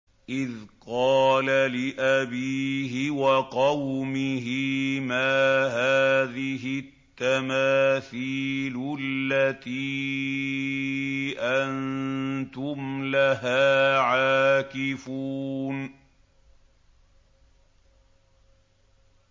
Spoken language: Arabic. إِذْ قَالَ لِأَبِيهِ وَقَوْمِهِ مَا هَٰذِهِ التَّمَاثِيلُ الَّتِي أَنتُمْ لَهَا عَاكِفُونَ